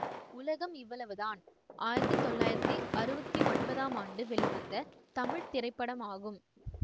உலகம் இவ்வளவு தான் ஆயிரத்தி தொள்ளாயிரத்தி அறுபத்தி ஒன்பதாம் ஆண்டு வெளிவந்த தமிழ் திரைப்படமாகும்